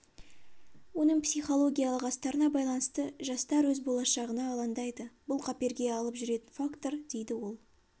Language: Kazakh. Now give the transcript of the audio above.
оның психологиялық астарына байланысты жастар өз болашағына алаңдайды бұл қаперге алып жүретін фактор дейді ол